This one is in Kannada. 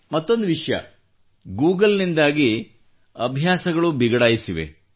ಮತ್ತೊಂದು ವಿಷಯ ಗೂಗಲ್ನಿಂದಾಗಿಯೂ ಅಭ್ಯಾಸಗಳು ಬಿಗಡಾಯಿಸಿವೆ